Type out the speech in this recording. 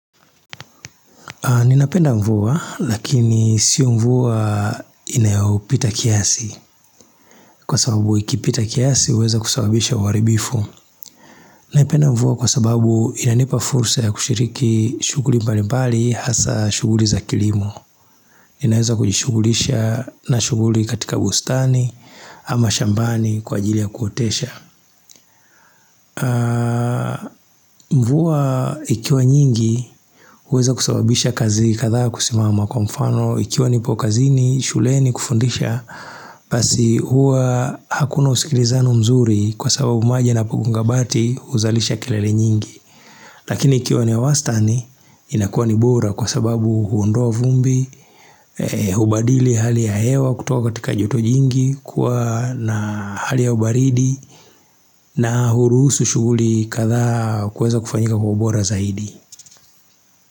Ninapenda mvua lakini sio mvua inayopita kiasi kwa sababu ikipita kiasi huweza kusababisha uharibifu. Naipenda mvua kwa sababu inanipa fursa ya kushiriki shuguli mbali mbali hasa shuguli za kilimo. Ninaweza kujishugulisha na shuguli katika bustani ama shambani kwa ajili ya kuotesha. Mvua ikiwa nyingi huweza kusababisha kazi kadhaa kusimama Kwa mfano ikiwa nipo kazini shuleni kufundisha Basi hua hakuna usikilizano mzuri Kwa sababu maji yanapo gonga bati huzalisha kilele nyingi Lakini ikiwa ni ya wastani inakuwa ni buro kwa sababu huondoa vumbi Hubadili hali ya hewa kutoka katika joto jingi Kwa na hali ya ubaridi na hurusu shuguli kadhaa kuweza kufanyika kwa ubora zaidi.